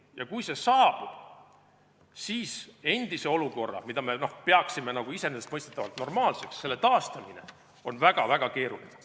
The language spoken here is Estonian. Ja kui see saabub, siis endise olukorra, mida me peaksime iseenesestmõistetavalt normaalseks, taastamine on väga-väga keeruline.